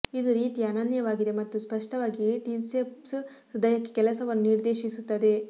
ಇದು ರೀತಿಯ ಅನನ್ಯವಾಗಿದೆ ಮತ್ತು ಸ್ಪಷ್ಟವಾಗಿ ಟ್ರಿಸೆಪ್ಸ್ ಹೃದಯಕ್ಕೆ ಕೆಲಸವನ್ನು ನಿರ್ದೇಶಿಸುತ್ತದೆ